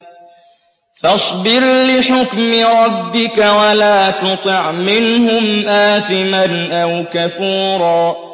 فَاصْبِرْ لِحُكْمِ رَبِّكَ وَلَا تُطِعْ مِنْهُمْ آثِمًا أَوْ كَفُورًا